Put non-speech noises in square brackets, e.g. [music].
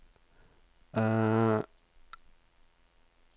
[hesitation]